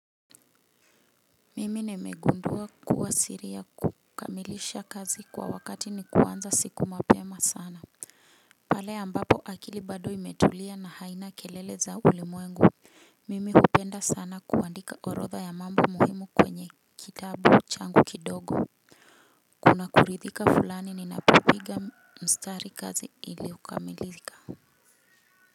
Mimi nimegundua kuwa siri ya kukamilisha kazi kwa wakati ni kuanza siku mapema sana. Pale ambapo akili bado imetulia na haina kelele za ulimwengu. Mimi hupenda sana kuandika orodha ya mambo muhimu kwenye kitabu changu kidogo. Kuna kuridhika fulani ni napopiga mstari kazi ili okamilika.